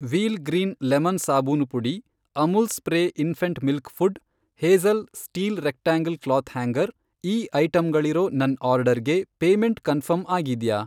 Wheel green lemon ಸಾಬೂನು ಪುಡಿ, Amul spray infant milk food, Hazel steel rectangle cloth hanger, ಈ ಐಟಂಗಳಿರೋ ನನ್ ಆರ್ಡರ್ಗೆ ಪೇಮೆಂಟ್ ಕನ್ಫರ್ಮ್ ಆಗಿದ್ಯಾ?